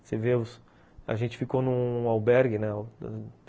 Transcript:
Você vê, a gente ficou num albergue, né?